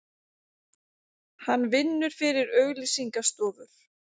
Hann vinnur fyrir auglýsinga stofur.